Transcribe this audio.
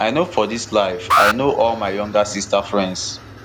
i know for dis life i know all my younger sisters friends